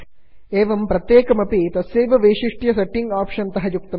एवं प्रत्येकम् एक्स्टेन्षन् अपि तस्यैव विशिष्टं विभिन्नं च सेट्टिङ्ग् आप्षन् तः युक्तं भवति